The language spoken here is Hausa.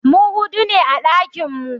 Mu hudu ne a ɗakinmu.